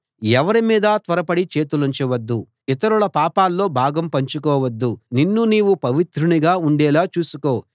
ఎవరి మీదా త్వరపడి చేతులుంచవద్దు ఇతరుల పాపాల్లో భాగం పంచుకోవద్దు నిన్ను నీవు పవిత్రునిగా ఉండేలా చూసుకో